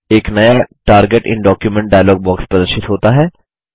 एक नया target in document dialogue प्रदर्शित होता है